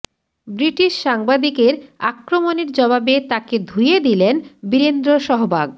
British সাংবাদিকের আক্রমণের জবাবে তাঁকে ধুয়ে দিলেন বীরেন্দ্র সহবাগ